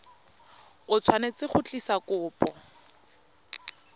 o tshwanetse go tlisa kopo